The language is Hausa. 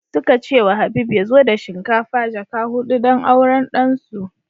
Suka ce wa Habib ya zo da shinkafa jaka hudu don auran ɗan su